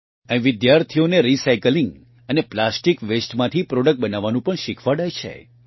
અહીં વિદ્યાર્થીઓને રીસાયકલીંગ અને પ્લાસ્ટીક વેસ્ટમાંથી પ્રોડક્ટ બનાવવાનું પણ શીખવાડાય છે